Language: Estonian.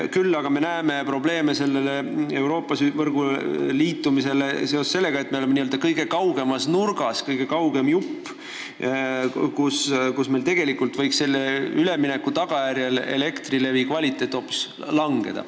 Küll aga me näeme probleeme Euroopa võrguga liitumisel seoses sellega, et me oleme selle kõige kaugemas nurgas, kõige kaugem jupp, nii et meil võib selle ülemineku tagajärjel elektrivarustuse kvaliteet hoopis langeda.